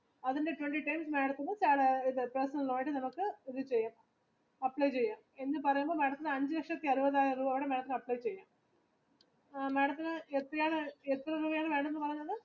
നമ്മുക്ക് ഇത് ചെയ്യാം എന്ന് പറയുമ്പോൾ madam ത്തിന് അഞ്ച് ലക്ഷത്തി അമ്പതിനായിരം ബാങ്ക് അനുവദിക്കും